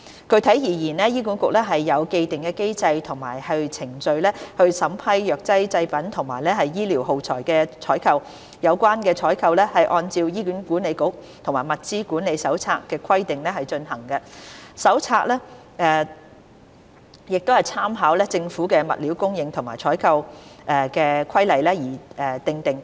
具體而言，醫管局有既定機制及程序審批藥劑製品及醫療耗材的採購。有關採購是按照《醫管局採購及物料管理手冊》的規定進行，手冊參考政府的《物料供應及採購規例》而訂定。